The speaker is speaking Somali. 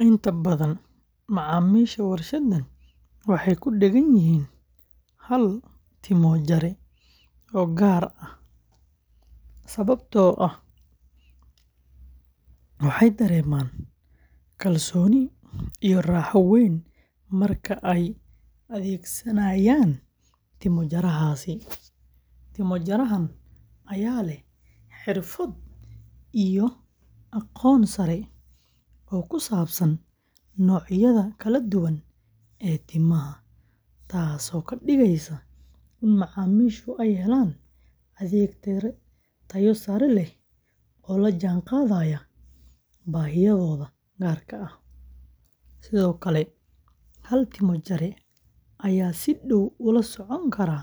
Inta badan macaamiisha warshadan waxay ku dheggan yihiin hal timo-jare oo gaar ah sababtoo ah waxay dareemaan kalsooni iyo raaxo weyn marka ay adeegsanayaan timo-jarahaasi. Timo-jarahan ayaa leh xirfad iyo aqoon sare oo ku saabsan noocyada kala duwan ee timaha, taasoo ka dhigaysa in macaamiishu ay helaan adeeg tayo sare leh oo la jaanqaadaya baahiyahooda gaarka ah. Sidoo kale, hal timo-jare ayaa si dhow ula socon kara